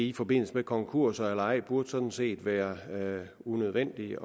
i forbindelse med konkurser eller ej burde sådan set være unødvendigt